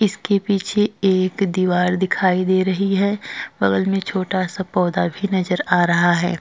इसके पीछे एक दीवार दिखाई दे रही है। बगल में छोटा सा पौधा भी नज़र आ रहा है।